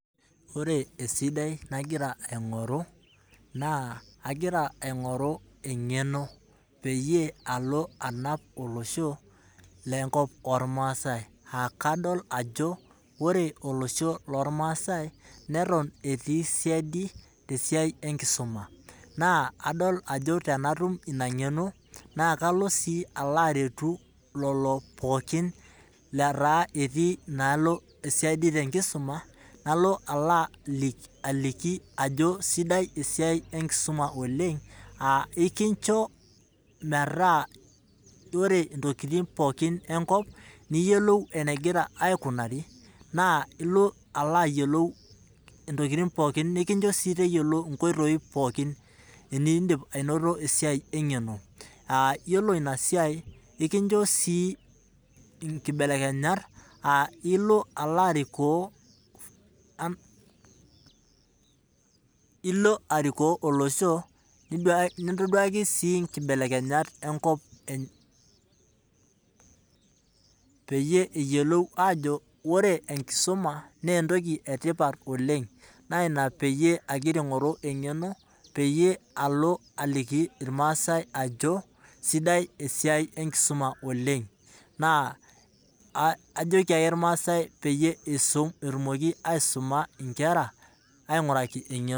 Ore etoki sidai nagira aingoru naa engeno naretunye iltungana lenyena te nkop ormaasai. Eton etii olosho loo rmaasai abori te kisuma neaku kanyokita aingoru enkisuma pee atum enkariyiano. Neaku matonyok aisum nkera ainguraki engeno.